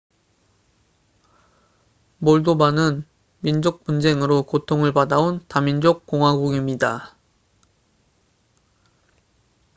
몰도바는 민족 분쟁으로 고통을 받아온 다민족 공화국입니다